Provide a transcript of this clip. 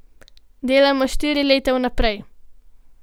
Delamo štiri leta vnaprej.